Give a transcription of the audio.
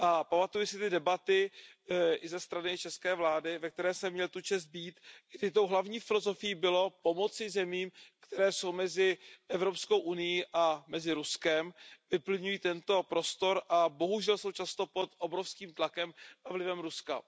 Pamatuji si ty debaty i ze strany české vlády, ve které jsem měl tu čest být, kdy tou hlavní filozofií bylo pomoci zemím, které jsou mezi Evropskou unií a Ruskem, vyplňují tento prostor a bohužel jsou často pod obrovským tlakem a vlivem Ruska.